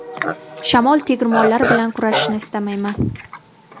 Shamol tegirmonlari bilan kurashishni istamayman.